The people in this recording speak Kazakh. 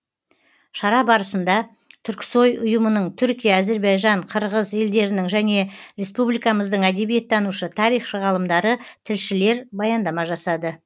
шара барысында түрксои ұйымының түркия әзірбайжан қырғыз елдерінің және республикамыздың әдебиеттанушы тарихшы ғалымдары тілшілер баяндама жасады